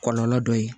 Kɔlɔlɔ dɔ ye